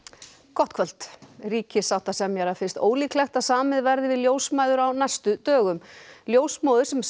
gott kvöld ríkissáttasemjara finnst ólíklegt að samið verði við ljósmæður á næstu dögum ljósmóðir sem